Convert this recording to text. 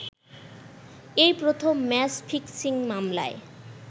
এই প্রথম match fixing মামলায়